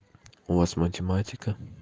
у вас математика